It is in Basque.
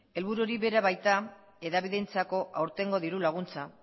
helburu hori baita hedabideentzako aurtengo diru laguntza